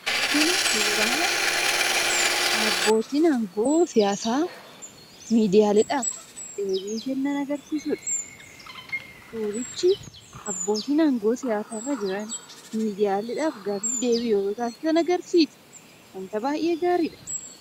Kuni suuraa abbootti aangoo siyasaa midiyaleedhaaf deebii kenan agarsisuudha. Surriichi abbottin aangoo siyasaa irra jiraan midiyaaleef gaaffiif deebii yetoo tasisaan agarsisaa. Wanta baay'ee gaariidha.